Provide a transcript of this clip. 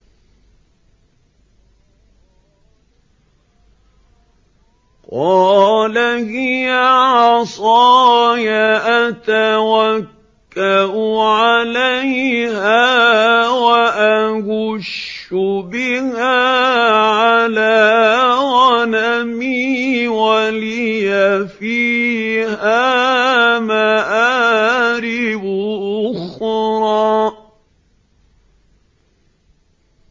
قَالَ هِيَ عَصَايَ أَتَوَكَّأُ عَلَيْهَا وَأَهُشُّ بِهَا عَلَىٰ غَنَمِي وَلِيَ فِيهَا مَآرِبُ أُخْرَىٰ